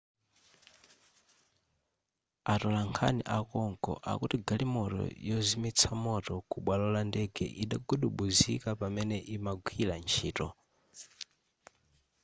atolankhani akonko akuti galimoto yozimitsa moto kubwalo la ndege idagudubuzika pamene imagwira ntchito